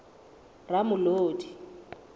ramolodi